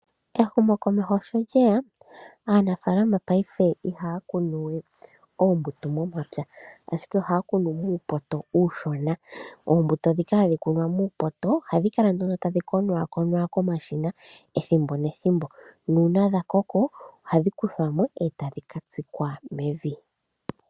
Ehumokomeho sho lyeya, aanafaalama paife ihaya kunu we oombuto momapya ashike ohaya kunu muupoto uushona. Oombuto dhika hadhi kunwa muupoto ohadhi kala tadhi konaakonwa komashina ethimbo nethimbo, nuuna dha koko ohadhi kuthwa mo e tadhi ka tsikwa mevi.